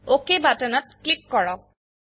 অক বাটনত ক্লিক কৰক